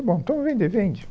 Está bom, então vou vender, vende